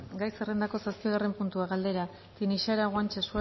gai zerrendako zazpigarren puntua galdera tinixara guanche